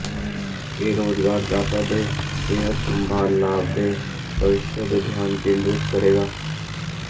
ਇਹ ਰੁਜ਼ਗਾਰਦਾਤਾ ਦੇ ਸਿਹਤ ਸੰਭਾਲ ਲਾਭਾਂ ਦੇ ਭਵਿੱਖ ਤੇ ਧਿਆਨ ਕੇਂਦਰਤ ਕਰੇਗਾ